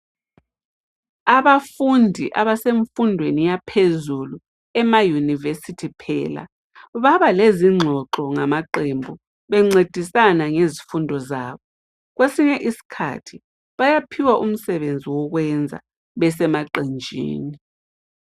Abafundi abasemfundweni yaphezulu ema university phela , baba lezingxoxo ngama qembu bencedisana ngezifundo zabo. Kwesinye isikhathi bayaphiwa umsebenzi wokwenza besemaqenjini.